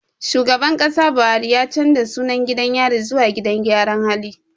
Shugaban Kasa Buhari ya canja sunan gidan yari zuwa gidan gyara hali